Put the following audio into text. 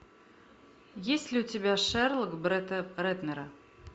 есть ли у тебя шерлок бретта рэтнера